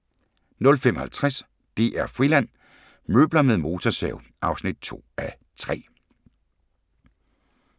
05:50: DR-Friland: Møbler med motorsav (2:3)